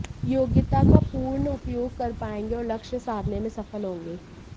योग्यता का पूर्ण उपयोग कर पाएंगे और लक्ष्य साधने में सफल होंगे